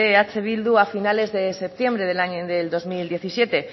eh bildu a finales de septiembre de dos mil diecisiete